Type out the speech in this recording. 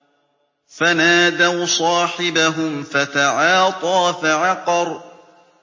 فَنَادَوْا صَاحِبَهُمْ فَتَعَاطَىٰ فَعَقَرَ